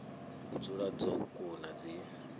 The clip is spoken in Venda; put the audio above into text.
u dzula dzo kuna dzi